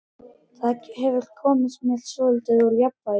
Það hefur komið mér svolítið úr jafnvægi.